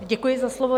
Děkuji za slovo.